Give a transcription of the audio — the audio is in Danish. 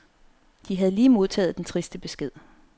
De havde lige modtaget den triste besked.